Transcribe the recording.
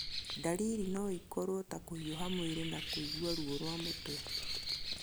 Ndariri no ikorũo ta kũhiũha mwĩrĩ na kũigua ruo rwa mũtwe.